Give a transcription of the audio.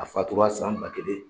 A fatura san ba kelen